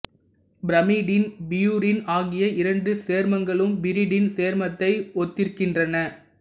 pyrimidine purine ஆகிய இரண்டு சேர்மங்களும் பிரிடின் சேர்மத்தை ஒத்திருக்கின்றன